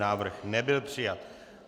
Návrh nebyl přijat.